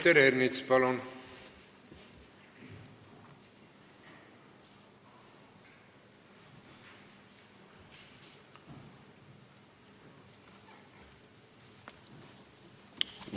Peeter Ernits, palun!